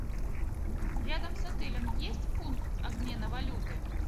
рядом с отелем есть пункт обмена валюты